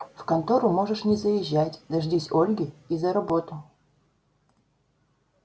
в контору можешь не заезжать дождись ольги и за работу